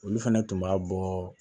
Olu fɛnɛ tun b'a bɔ